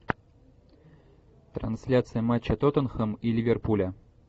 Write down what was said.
трансляция матча тоттенхэм и ливерпуля